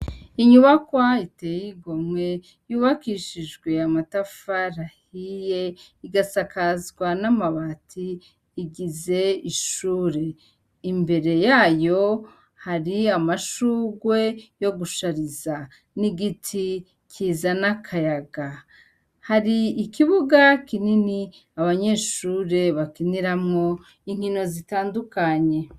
Inyubakwa iteye igomwe yubakishijwe amatafarahiye igasakazwa n'amabati igize ishure imbere yayo hari amashugwe yo gushariza n'igiti kiza n'akayaga hari ikibuga kinini abanyeshure bakiniramwo inkino zitandukanye.